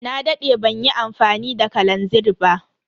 Na dade banyi amfani da kalanzir ba.